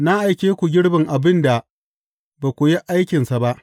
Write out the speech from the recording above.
Na aike ku girbin abin da ba ku yi aikinsa ba.